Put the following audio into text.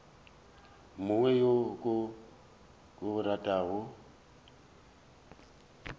mongwe yo ke mo ratago